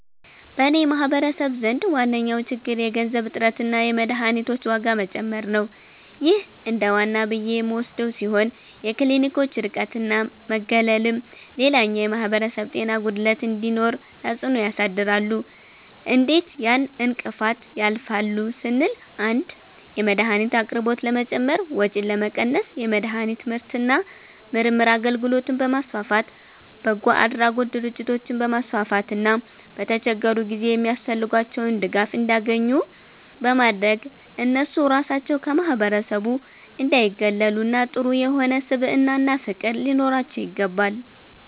በኔ ማህበረሰብ ዘንድ ዋነኛዉ ችግር የገንዘብ እጥረትና የመድሀኒቶች ዋጋ መጨመር ነዉ ይህ እንደዋና ብዬ የምወስደዉ ሲሆን የክሊኒኮች ርቀትና መገለልም ሌላኛዉ የማህበረሰብ ጤና ጉድለት እንዲኖር ተፅእኖ ያሳድራሉ እንዴት ያን እንቅፋት ያልፋሉ ስንል 1)የመድሀኒት አቅርቦት ለመጨመር ወጪን ለመቀነስ የመድሀኒት ምርትና ምርምር አገልግሎትን በማስፋፋት፣ በጎአድራጎት ድርጅቶችን በማስፋፋትና በተቸገሩ ጊዜ የሚያስፈልጋቸዉን ድጋፍ እንዲያኙ ኙ በማድረግ እነሱ ራሳቸዉ ከማህበረሰቡ እንዳይጉላሉና ጥሩ የሆነ ስብዕናና ፍቅር ሊኖራቸዉ ይገባል።